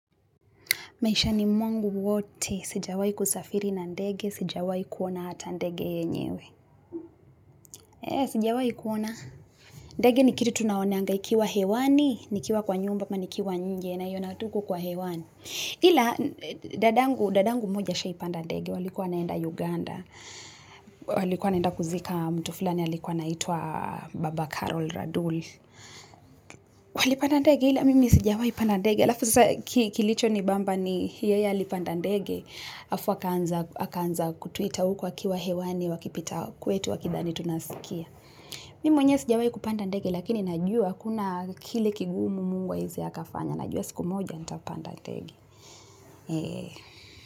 Maishani mwangu wote, sijawai kusafiri na ndege, sijawai kuona hata ndege yenyewe. Ee, sijawai kuona. Ndege nikiri tu naonga ikiwa hewani, nikiwa kwa nyumba, ama nikiwa nje, naiona tu huko kwa hewani. Ila, dada'ngu mmoja ashaipanda ndege, walikuwa wanaenda Uganda. Walikuwa wanaenda kuzika mtu fulani, alikuwa anaitwa baba Carol Radul. Walipanda ndege, ila mimi sijawahi panda ndege. Alafu sasa kilichonibamba ni yeye alipanda ndege. Afu wakaanza kutuita huku wakiwa hewani wakipita kwetu wakidhani tunawasikia. Mi mwenye sijawahi kupanda ndege, lakini najua kuna kile kigumu Mungu hawezi hakafanya, najua siku moja nitapanda ndege.